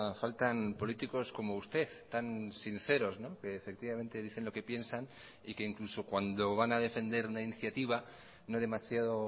faltan políticos como usted tan sinceros que efectivamente dicen lo que piensan y que incluso cuando van a defender una iniciativa no demasiado